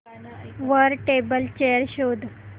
वर table chair शोध